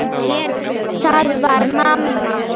Það var mamma.